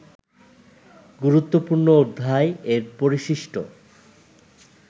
গুরুত্বপূর্ণ অধ্যায় এর পরিশিষ্ট